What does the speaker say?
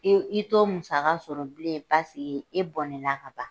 I y'o i t'o musaka sɔrɔ bilen paseke i bɔnɛna ka ban.